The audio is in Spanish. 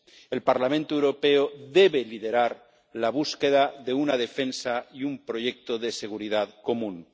El Parlamento Europeo debe liderar la búsqueda de una defensa y un proyecto de seguridad común.